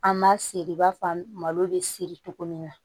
An ma seri i b'a fɔ an malo bɛ siri togo min na